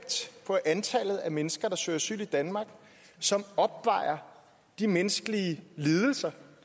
på antallet af mennesker der søger asyl i danmark som opvejer de menneskelige lidelser